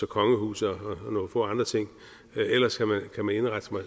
kongehuset og nogle få andre ting og ellers kan man kan man indrette